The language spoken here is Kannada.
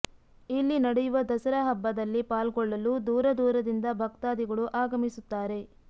ಇಲ್ಲಿ ನಡೆಯುವ ದಸರಾ ಹಬ್ಬದಲ್ಲಿ ಪಾಲ್ಗೊಳ್ಳಲು ದೂರ ದೂರದಿಂದ ಭಕ್ತಾಧಿಗಳು ಆಗಮಿಸುತ್ತಾರೆ